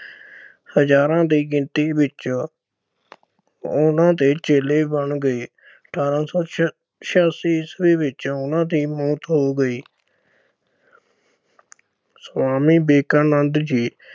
ਹਜ਼ਾਰਾਂ ਦੀ ਗਿਣਤੀ ਵਿੱਚ ਉਨ੍ਹਾਂ ਦੇ ਚੇਲੇ ਬਣ ਗਏ। ਅਠਾਰਾਂ ਸੌ ਛਿਆ ਅਹ ਛਿਆਸੀ ਈਸਵੀ ਵਿੱਚ ਉਨ੍ਹਾਂ ਦੀ ਮੌਤ ਹੋ ਗਈ। ਸੁਆਮੀ ਵਿਵੇਕਾਨੰਦ ਜੀ